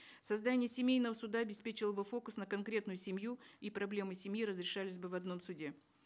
создание семейного суда обеспечило бы фокус на конкретную семью и проблемы семьи разрешались бы в одном суде